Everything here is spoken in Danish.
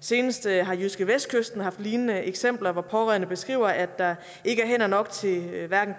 seneste har jyskevestkysten haft lignende eksempler hvor pårørende beskriver at der ikke er hænder nok til hverken